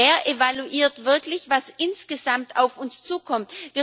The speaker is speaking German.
Wer evaluiert wirklich, was insgesamt auf uns zukommt?